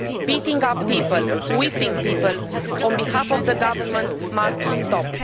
Beating up people and whipping people on behalf of the government must stop.